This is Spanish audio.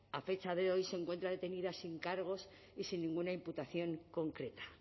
a fecha de hoy se encuentra detenida sin cargos y sin ninguna imputación concreta